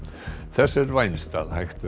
þess er vænst að hægt